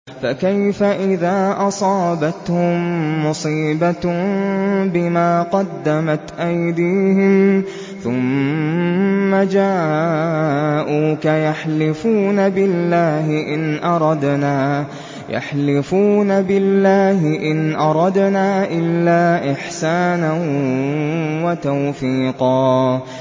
فَكَيْفَ إِذَا أَصَابَتْهُم مُّصِيبَةٌ بِمَا قَدَّمَتْ أَيْدِيهِمْ ثُمَّ جَاءُوكَ يَحْلِفُونَ بِاللَّهِ إِنْ أَرَدْنَا إِلَّا إِحْسَانًا وَتَوْفِيقًا